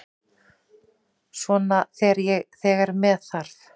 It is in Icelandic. Svona þegar með þarf.